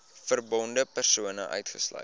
verbonde persone uitgesluit